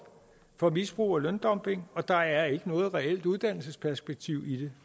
for misbrug og løndumping og der er ikke noget reelt uddannelsesperspektiv i det